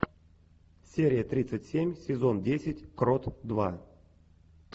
серия тридцать семь сезон десять крот два